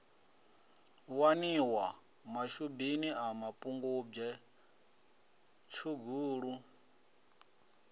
waniwa mashubini a mapungubwe tshugulu